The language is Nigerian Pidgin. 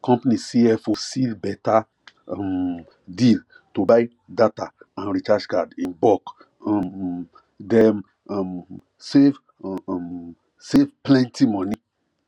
company cfo seal beta um deal to buy data and recharge card in bulk um dem um save um save plenty money